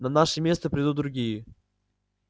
на наше место придут другие